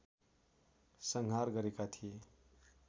संहार गरेका थिए